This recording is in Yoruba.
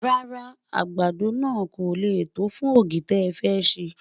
rárá o, àgbàdo nà kò lẹ tó fún ọ̀gì tẹ fé ṣé